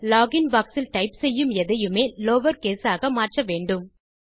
login box இல் type செய்யும் எதையுமே லவர்கேஸ் ஆக மாற்ற வேண்டும்